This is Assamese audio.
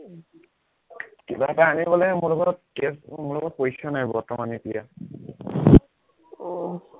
কিবা এটা আনিবলে মোৰ লগত cash মোৰ লগত পইচা নাই বৰ্তমান এতিয়া, আহ